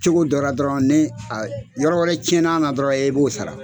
Cogo dɔra dɔrɔn ni a yɔrɔ wɛrɛ cɛna na dɔrɔn e b'o sara